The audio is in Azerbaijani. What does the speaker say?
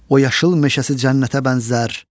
O yaşıl meşəsi cənnətə bənzər.